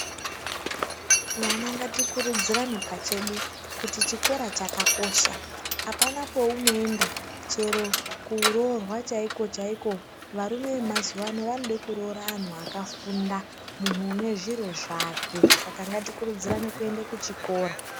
Vana ngatikuruzirapachedu kuti chikora chakakosha. Apana kwaunoenda, chero kuroorwa chaiko chaiko varume vemazuwa ano vanoda vakadzi vakafunda. Munhu une zviro zvake. Saka ngatikurudzirane kuende kuchikora.